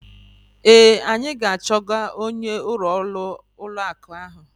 Ee, anyị ga-achọga onye ọrụ ụlọ akụ ahụ.